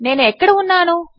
నేను ఎక్కడ ఉన్నాను